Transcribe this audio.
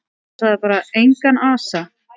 Og sagði bara: Engan asa.